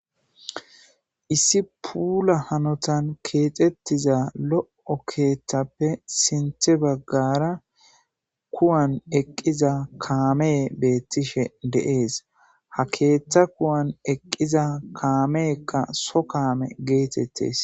issi puula hanotan keexettiza lo7o keeththappe sinthe baggara kuwan eqqiza kaame beettishe de7ees ha keeththa kuwan eqqiza kaameekka so kaame geetettes